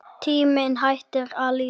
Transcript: Tíminn hættur að líða.